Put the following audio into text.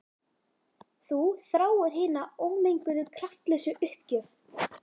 Þú þráir hina ómenguðu kraftlausu uppgjöf.